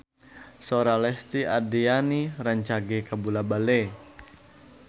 Sora Lesti Andryani rancage kabula-bale